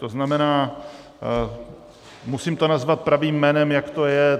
To znamená, musím to nazvat pravým jménem, jak to je.